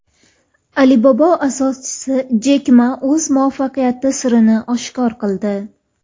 Alibaba asoschisi Jek Ma o‘z muvaffaqiyati sirini oshkor qildi.